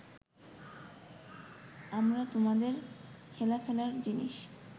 আমরা তোমাদের হেলাফেলার জিনিস